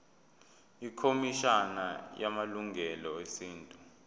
ikhomishana yamalungelo esintu